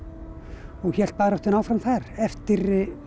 og hélt baráttunni áfram þar eftir